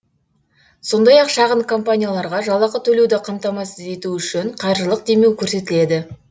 сондай ақ шағын компанияларға жалақы төлеуді қамтамасыз ету үшін қаржылық демеу көрсетіледі